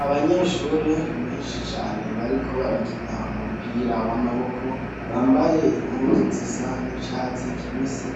Abanyeshuri benshi cyane bariko barakina umupira w'amaboko bambaye impunzu zisa n'icatsi kibisi